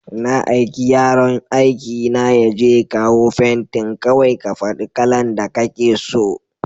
Na aiki yaron aikina yaje ya kawo fentin, kawai ka faɗa kalan da kake so.